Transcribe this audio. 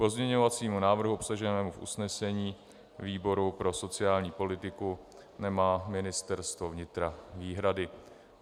K pozměňovacímu návrhu obsaženému v usnesení výboru pro sociální politiku nemá Ministerstvo vnitra výhrady.